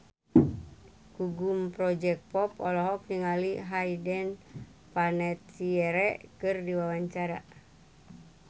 Gugum Project Pop olohok ningali Hayden Panettiere keur diwawancara